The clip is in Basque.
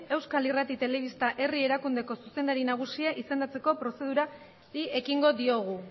euskal irrati telebista herri erakundeko zuzendari nagusia izendatzeko prozedurari ekingo diogu